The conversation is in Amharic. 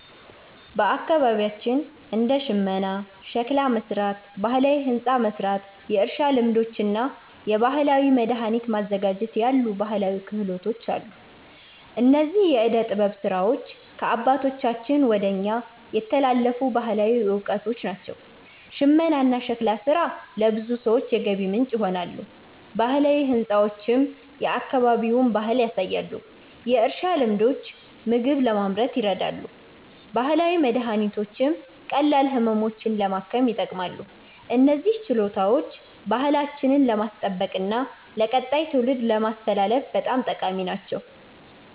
በአካባቢያችን እንደ ሽመና፣ ሸክላ መሥራት፣ ባህላዊ ሕንፃ መሥራት፣ የእርሻ ልማዶች እና የባህላዊ መድኃኒት ማዘጋጀት ያሉ ባህላዊ ክህሎቶች አሉ። እነዚህ የዕደ ጥበብ ሥራዎች ከአባቶቻችን ወደ እኛ የተላለፉ ባህላዊ እውቀቶች ናቸው። ሽመናና ሸክላ ሥራ ለብዙ ሰዎች የገቢ ምንጭ ይሆናሉ፣ ባህላዊ ሕንፃዎችም የአካባቢውን ባህል ያሳያሉ። የእርሻ ልማዶች ምግብ ለማምረት ይረዳሉ፣ ባህላዊ መድኃኒቶችም ቀላል ህመሞችን ለማከም ይጠቅማሉ። እነዚህ ችሎታዎች ባህላችንን ለማስጠበቅና ለቀጣይ ትውልድ ለማስተላለፍ በጣም ጠቃሚ ናቸው።